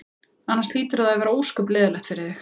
Annars hlýtur það að vera ósköp leiðinlegt fyrir þig.